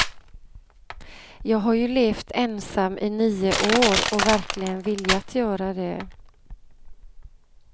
Jag har ju levt ensam i nio år, och verkligen viljat göra det.